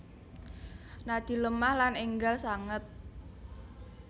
Nadi lemah lan enggal sanget